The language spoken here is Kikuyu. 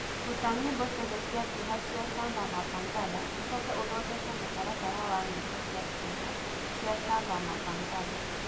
rũta nyĩmbo cĩothe cĩa kieha cĩa samba mapangala ucoke ũthondeke mũtaratara wa nyĩmbo cĩa kieha cĩa samba mapangala